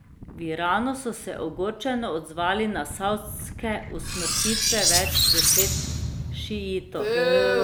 V Iranu so se ogorčeno odzvali na savdske usmrtitve več deset šiitov.